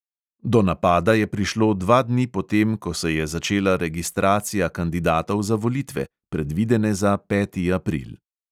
Do napada je prišlo dva dni po tem, ko se je začela registracija kandidatov za volitve, predvidene za peti april.